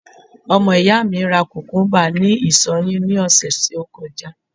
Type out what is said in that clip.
ọmọ iya mi ra kukumba ni isọ yin ni ọsẹ ti o kọjá